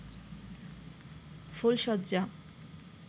ফুলশয্যা